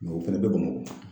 o fɛnɛ bɛ Bamakɔ.